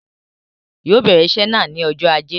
Yóò bèrè iṣé náà ni ọjọ́ ajé.